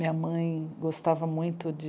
Minha mãe gostava muito de...